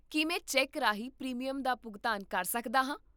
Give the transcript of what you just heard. ਕੀ ਮੈਂ ਚੈੱਕ ਰਾਹੀਂ ਪ੍ਰੀਮੀਅਮ ਦਾ ਭੁਗਤਾਨ ਕਰ ਸਕਦਾ ਹਾਂ?